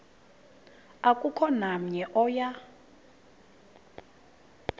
akukho namnye oya